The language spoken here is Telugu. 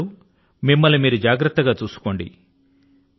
మీరందరూ మిమ్మల్ని మీరు జాగ్రత్త గా చూసుకోండి